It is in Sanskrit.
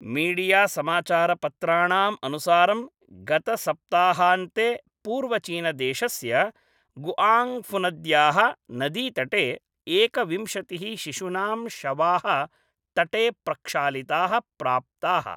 मीडियासमाचारपत्राणाम् अनुसारं गतसप्ताहान्ते पूर्वचीनदेशस्य गुआङ्गफुनद्याः नदीतटे एकविंशतिः शिशुनां शवाः तटे प्रक्षालिताः प्राप्ताः